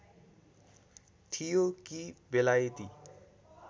थियो कि बेलायती